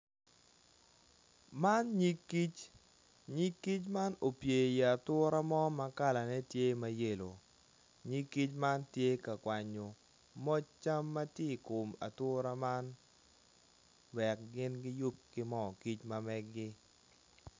Man nyig kic nyig kic man opye i kom ature ma kalane tye ma yelo nyig kic man tye ka kwanyo moc cam ma tye i kom ature man wek gin giyub ki moo kic ma meggi.